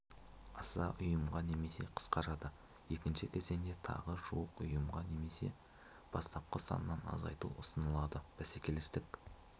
аса ұйымға немесе қысқарады екінші кезеңде тағы жуық ұйымға немесе бастапқы санынан азайту ұсынылады бәсекелестік